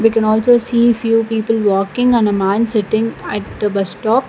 can also see few people walking and a man sitting at the bus stop.